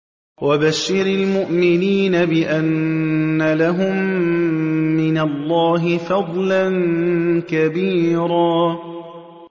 وَبَشِّرِ الْمُؤْمِنِينَ بِأَنَّ لَهُم مِّنَ اللَّهِ فَضْلًا كَبِيرًا